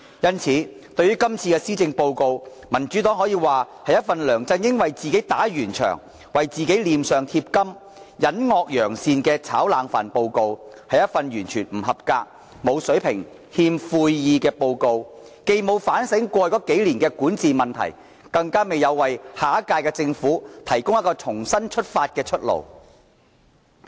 因此，對於這份施政報告，民主黨只可以說是一份梁振英為自己打圓場、為自己臉上貼金、隱惡揚善的"炒冷飯"報告，是一份完全不合格、沒有水平、欠悔意的報告，既沒有反省過去數年的管治問題，亦未有為下屆政府提供一條重新出發的出路。